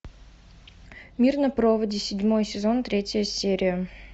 мир на проводе седьмой сезон третья серия